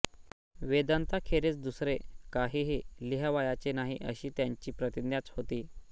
वेदान्ताखेरीज दुसरे काहीही लिहावयाचे नाही अशी त्यांची प्रतिज्ञाच होती